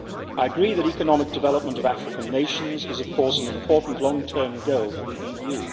I agree that the economic development of African nations is an important long-term goal for the EU.